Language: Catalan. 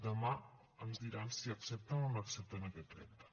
demà ens diran si accepten o no accepten aquest repte